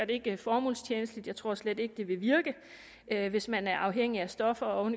ikke formålstjenligt jeg tror slet ikke det vil virke hvis man er afhængig af stoffer og